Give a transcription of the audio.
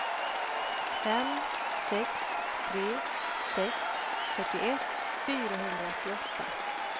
fem sex tre sex fyrtioett fyrahundraåttioåtta